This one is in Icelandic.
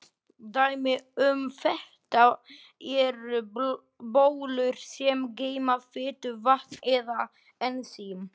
Dæmi um þetta eru bólur sem geyma fitu, vatn eða ensím.